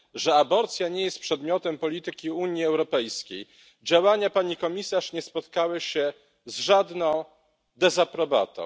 że aborcja nie jest przedmiotem polityki Unii Europejskiej, działania pani komisarz nie spotkały się z żadną dezaprobatą.